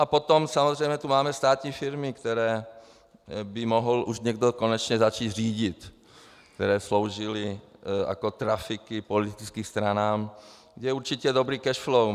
A potom samozřejmě tu máme státní firmy, které by mohl už někdo konečně začít řídit, které sloužily jako trafiky politickým stranám, kde je určitě dobré cash flow.